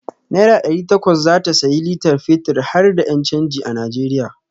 Naira ɗari takwas zata sayi litar fetir harda ƴan canji a Najeriya.